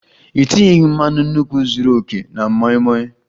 Ị tinyeghi mmanu nkwu zuru oke na moi moi